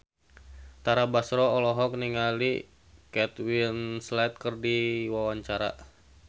Tara Basro olohok ningali Kate Winslet keur diwawancara